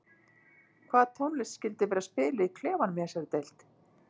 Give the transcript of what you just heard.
Hvað tónlist skyldi vera spiluð í klefanum í þessari deild?